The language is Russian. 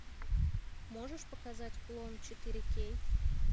можешь показать клон четыре кей